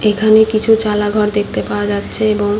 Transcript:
এখানে কিছু চালা ঘর দেখতে পাওয়া যাচ্ছে এবং --